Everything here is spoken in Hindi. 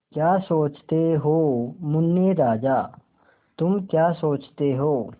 क्या सोचते हो मुन्ने राजा तुम क्या सोचते हो